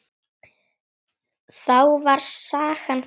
Þá var sagan grín.